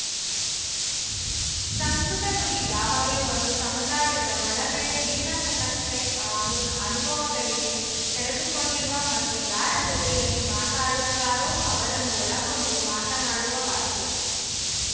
ಸಂವೃತ ನುಡಿ ಯಾವಾಗಲೂ ಒಂದು ಸಮುದಾಯದ ಒಳಗಡೆ ಜೀರ್ಣಿಸತಕ್ಕ ಆಗೂನ್ ಅನುಭವಗಳಿಗೆ ತೆರೆದುಕೊಂಡಿರುವ ಮತ್ತು ಯಾರ ಜತೆಯಲ್ಲಿ ಮಾತನಾಡುತ್ತಾರೋ ಅವರನ್ನು ಒಳಗೊಂಡು ಮಾತನಾಡುವ ಭಾಷೆ